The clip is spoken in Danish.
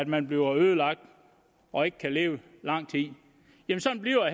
man bliver ødelagt og ikke kan leve i lang tid men sådan bliver